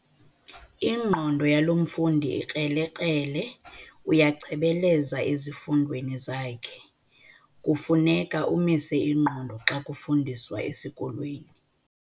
Ingqondo yalo mfundi ikrelekrele uyachebeleza ezifundweni zakhe. kufuneka umise ingqondo xa kufundiswa esikolweni